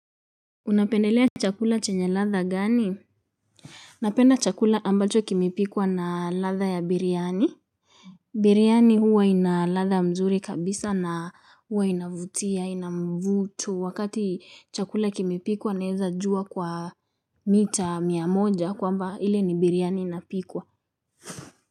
Unapendelea chakula chenye ladha gani. Napenda chakula ambacho kimipikwa na ladha ya biriani. Biriani huwa inaladha mzuri kabisa na huwa inavutia inamvuto wakati chakula kimipikwa naeza jua kwa mita miamoja kwamba hile ni biriani inapikwa.